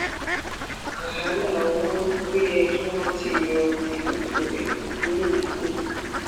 wàhálà owó ó yẹ kí wọn ti yọ ẹlẹfẹlẹ kúrò nípò